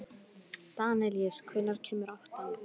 Danelíus, hvenær kemur áttan?